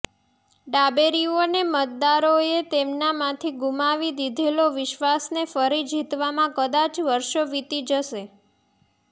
ડાબેરીઓને મતદારોએ તેમનામાંથી ગુમાવી દીધેલો વિશ્વાસને ફરી જીતવામાં કદાચ વર્ષો વીતી જશે